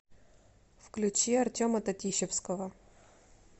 включи артема татищевского